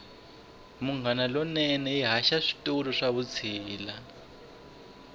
munghana lonene yi haxa switori swa vutshila